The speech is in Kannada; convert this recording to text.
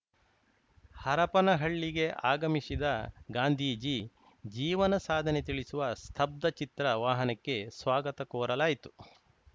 ಹರಪನಹಳ್ಳಿಗೆ ಆಗಮಿಸಿದ ಗಾಂಧೀಜಿ ಜೀವನ ಸಾಧನೆ ತಿಳಿಸುವ ಸ್ತಬ್ಧಚಿತ್ರ ವಾಹನಕ್ಕೆ ಸ್ವಾಗತ ಕೋರಲಾಯಿತು